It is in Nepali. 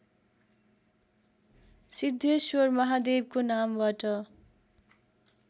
सिद्धेश्वर महादेवको नामबाट